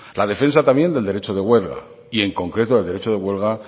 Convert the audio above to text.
la defensa también del derecho de huelga y en concreto el derecho de huelga